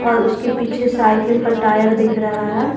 और उसके पीछे साइकिल का टायर दिख रहा है।